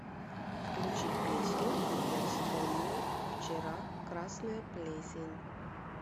включи песню я вспомнил вчера красная плесень